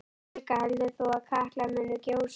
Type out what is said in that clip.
Helga: Heldur þú að Katla muni gjósa?